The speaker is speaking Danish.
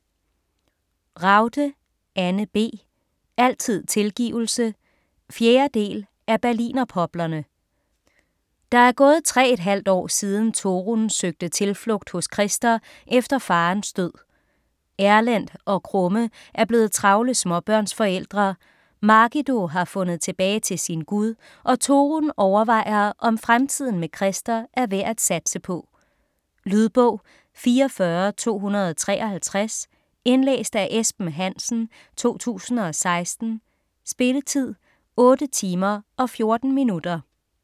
Ragde, Anne B.: Altid tilgivelse 4. del af Berlinerpoplerne. Der er gået tre et halvt år siden Torunn søgte tilflugt hos Christer efter farens død. Erlend og Krumme er blevet travle småbørnsforældre, Margido har fundet tilbage til sin Gud og Torunn overvejer om fremtiden med Christer er værd at satse på. Lydbog 44253 Indlæst af Esben Hansen, 2016. Spilletid: 8 timer, 14 minutter.